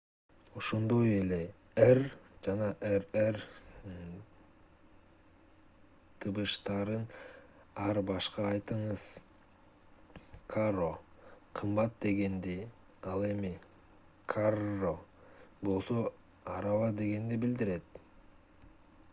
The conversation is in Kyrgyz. ошондой эле r жана rr тыбыштарын ар башка айтыңыз caro кымбат дегенди ал эми carro болсо араба дегенди билдирет